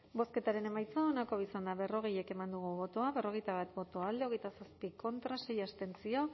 bozketaren emaitza onako izan da berrogei eman dugu bozka berrogeita bat boto alde hogeita zazpi contra sei abstentzio